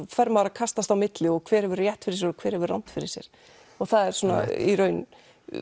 fer maður að kastast á milli og hver hefur rétt fyrir sér og hver hefur rangt fyrir sér það er svo í raun